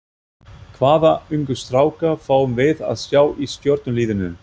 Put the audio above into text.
Hvaða ungu stráka fáum við að sjá í Stjörnuliðinu?